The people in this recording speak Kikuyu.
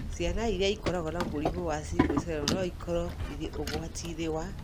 Ciana iria ikoragwo na mũrimũ wa sickle cell no ikorũo irĩ ũgwati-inĩ wa